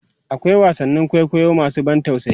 akwai wasannin kwaikwayo masu ban tausayi